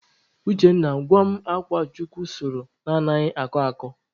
Uchenna, gwa m akwa chukwu sụrụ na anaghị akọ akọ?